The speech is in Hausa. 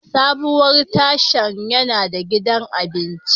Sabuwar tashan yana da gidan abinci.